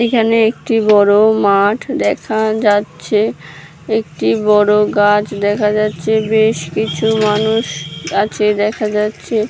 এখানে একটি বড়োমাঠদেখাযাচ্ছে একটি বড়ো গাছ দেখা যাচ্ছে বেশ কিছুমানুষ গাছে দেখা যাচ্ছে।